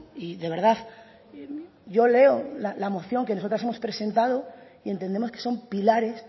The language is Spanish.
y de verdad yo leo la moción que nosotras hemos presentado y entendemos que son pilares